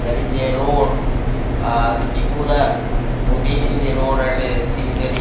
there is a road ahh the people are moving in the road and a seen very --